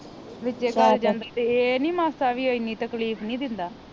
ਵਿਚੇ ਗਲ ਜਾਂਦਾ ਤੇ ਇਹ ਨੀ ਮਾਸਾ ਵੀ ਏਨੀ ਤਕਲੀਫ ਨੀ ਦਿੰਦਾ